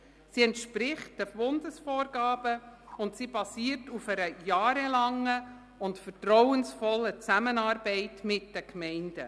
Sie entspricht den Bundesvorgaben und basiert auf einer jahrelangen und vertrauensvollen Zusammenarbeit mit den Gemeinden.